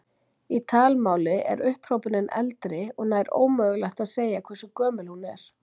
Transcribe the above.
Í talmáli er upphrópunin eldri og nær ómögulegt að segja hversu gömul hún er.